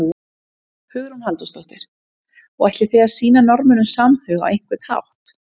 Hugrún Halldórsdóttir: Og ætlið þið að sýna Norðmönnum samhug á einhvern hátt?